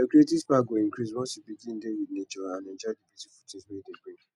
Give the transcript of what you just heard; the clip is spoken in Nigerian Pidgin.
your creative spark go increase once you begin dey with nature and enjoy di beautiful things wey e dey bring